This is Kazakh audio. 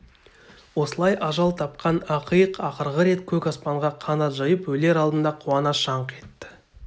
осылай ажал тапқан ақиық ақырғы рет көк аспанға қанат жайып өлер алдында қуана шаңқ етті